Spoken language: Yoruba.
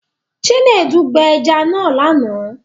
Chinedu gbẹ ẹja náà lánàá